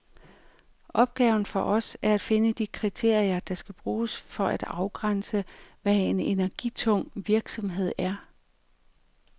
Opgaven for os er at finde de kriterier, der skal bruges for at afgrænse, hvad en energitung virksomhed er.